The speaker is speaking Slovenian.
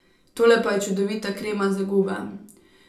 Tole pa je čudovita krema za gube.